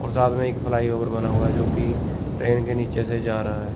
और साथ में एक फ्लाई ओवर बना हुआ है जोकि ट्रेन के नीचे से जा रहा है।